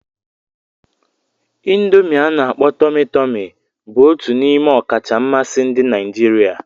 Indomi ana-akpo Tomi-Tomi bụ otu n'ime ọkacha mmasị ndị Naijiria.